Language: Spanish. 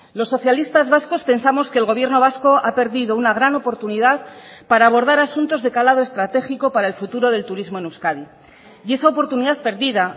los socialistas vascos pensamos que el gobierno vasco ha perdido una gran oportunidad para abordar asuntos de calado estratégico para el futuro del turismo en euskadi y esa oportunidad perdida